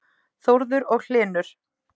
Þórður og Hlynur.